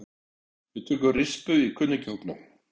Við tökum rispu í kunningjahópnum.